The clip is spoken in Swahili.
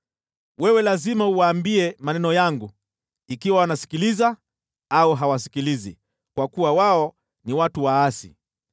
Wewe lazima uwaambie maneno yangu, ikiwa wanasikiliza au hawasikilizi, kwa kuwa wao ni watu waasi.